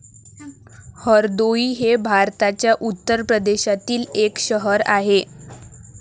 हरदोई हे भारताच्या उत्तर प्रदेशातील एक शहर आहे.